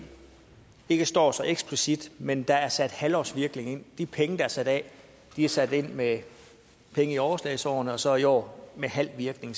ikke står så eksplicit men der er sat halvårsvirkning ind de penge der er sat af er sat ind med penge i overslagsårene og så i år med halv virkning